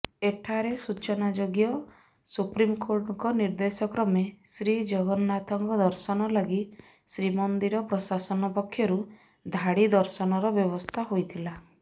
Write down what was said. ଏଠାରେ ସୂଚନାଯୋଗ୍ୟ ସୁପ୍ରିମକୋର୍ଟଙ୍କ ନିର୍ଦ୍ଦେଶକ୍ରମେ ଶ୍ରୀଜଗନ୍ନାଥଙ୍କ ଦର୍ଶନ ଲାଗି ଶ୍ରୀମନ୍ଦିର ପ୍ରଶାସନ ପକ୍ଷରୁ ଧାଡ଼ି ଦର୍ଶନର ବ୍ୟବସ୍ଥା ହୋଇଥିଲା